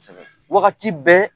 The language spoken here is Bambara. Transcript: Wagati bɛɛ